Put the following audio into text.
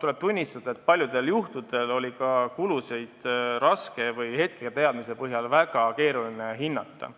tuleb tunnistada, et paljudel juhtudel oli kulusid hetketeadmise põhjal väga keeruline hinnata.